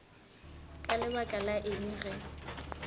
ka lebaka la eng ge